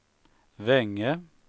Vänge